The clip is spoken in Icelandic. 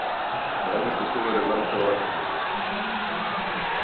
Grænlenskur togari landaði á Akureyri